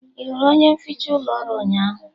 Ị hụrụ onye nficha ụlọ ọrụ ụnyaahụ?